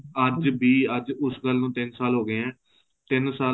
ਅੱਜ ਵੀ ਅੱਜ ਉਸ ਗੱਲ ਨੂੰ ਤਿੰਨ ਸਾਲ ਹੋ ਗਏ ਐ ਤਿੰਨ ਸਾਲ